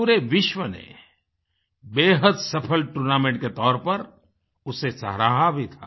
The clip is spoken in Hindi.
पूरे विश्व ने बेहद सफल टूर्नामेंट के तौर पर उसे सराहा भी था